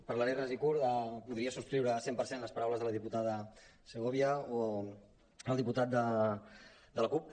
parlaré ras i curt podria subscriure cent per cent les paraules de la diputada segovia o del diputat de la cup